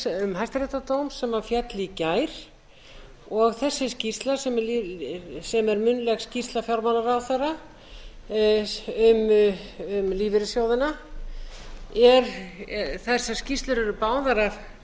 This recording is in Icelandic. um hæstaréttardóm sem féll í gær og þessi skýrsla sem er munnleg skýrsla fjármálaráðherra um lífeyrissjóðina þessar skýrslur eru